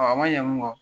a ma ɲɛ mun kɔ